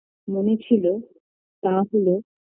মনে ছিল তা হলো